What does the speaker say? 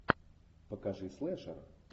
покажи слэшер